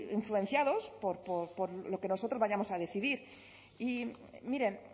influenciados por lo que nosotros vayamos a decidir y miren